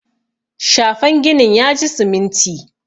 shafen ginin ya ji siminti